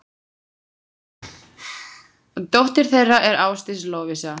Dóttir þeirra er Ásdís Lovísa.